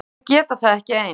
Þau geta það ekki ein.